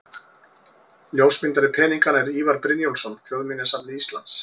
Ljósmyndari peninganna er Ívar Brynjólfsson, Þjóðminjasafni Íslands.